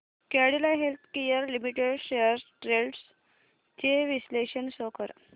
Cadila healthcare limited shares trends चे विश्लेषण show कर